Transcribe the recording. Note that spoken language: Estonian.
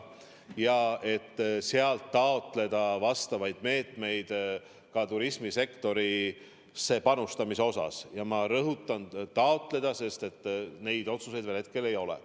Plaanime sealt taotleda vajalikke meetmeid ka turismisektorisse panustamiseks, aga ma rõhutan: taotleda, sest neid otsuseid hetkel veel ei ole.